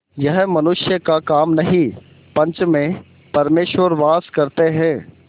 यह मनुष्य का काम नहीं पंच में परमेश्वर वास करते हैं